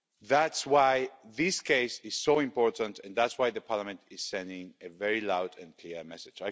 That's why this case is so important, and that's why Parliament is sending a very loud and clear message.